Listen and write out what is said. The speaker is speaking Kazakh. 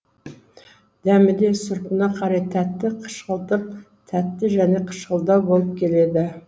дәмі де сұрпына қарай тәтті қышқылтым тәтті және қышқылдау болып келеді